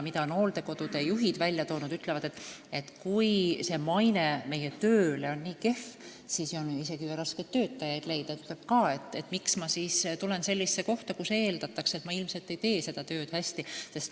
Hooldekodude juhid ise ütlevad, et kui nende maine on nii kehv, siis on raske isegi töötajat leida – tema küsib ka, miks ma peaksin tulema sellisesse kohta, kus eeldatakse, et ma ilmselt ei tee seda tööd hästi.